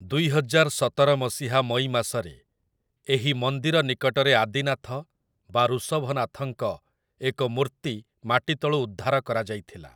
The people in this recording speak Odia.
ଦୁଇହଜାର ସତର ମସିହା ମଇ ମାସରେ ଏହି ମନ୍ଦିର ନିକଟରେ ଆଦିନାଥ ବା ଋଷଭନାଥଙ୍କ ଏକ ମୂର୍ତ୍ତି ମାଟିତଳୁ ଉଦ୍ଧାର କରାଯାଇଥିଲା ।